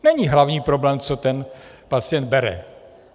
Není hlavní problém, co ten pacient bere.